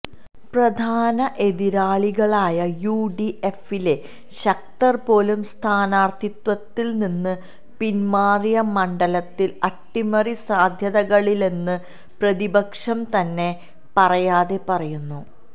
പ്രധാന എതിരാളികളായ യുഡിഎഫിലെ ശക്തര് പോലും സ്ഥാനാര്ത്ഥിത്വത്തില് നിന്ന് പിന്മാറിയ മണ്ഡലത്തില് അട്ടിമറി സാധ്യതകളില്ലെന്ന് പ്രതിപക്ഷം തന്നെ പറയാതെ പറയുന്നു